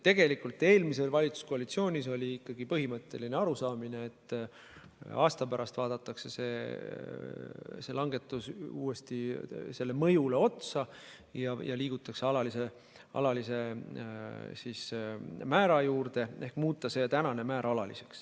Tegelikult eelmises valitsuskoalitsioonis oli ikkagi põhimõtteline arusaamine, et aasta pärast vaadatakse uuesti selle langetuse mõjule otsa ja liigutakse alalise määra juurde ehk siis muudetakse praegune määr alaliseks.